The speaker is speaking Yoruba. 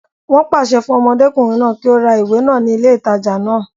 Wọ́n pàṣẹ fún ọmọdékùnrin náà kí ó ra ìwé náà ní ilé ìtajà náà